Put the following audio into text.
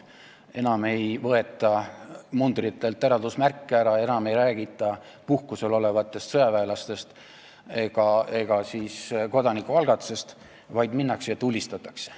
Enam ei võeta mundritelt eraldusmärke ära, enam ei räägita puhkusel olevatest sõjaväelastest ega kodanikualgatusest, vaid minnakse ja tulistatakse.